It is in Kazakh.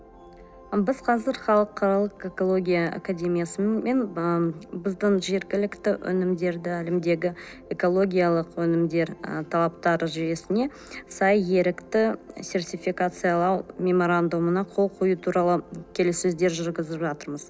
біз қазір халықаралық экология академиясымен ы біздің жергілікті өнімдерді әлемдегі экологиялық өнімдер ы талаптар жүйесіне сай ерікті сертификатциялау меморандумына қол қою туралы келіссөздер жүргізіп жатырмыз